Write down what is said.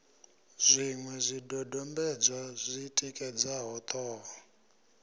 zwiṅwe zwidodombedzwa zwi tikedzaho ṱhoho